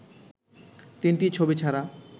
তিনটি ছবি ছাড়া